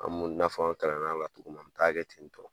An mun taa kɛ ten tɔ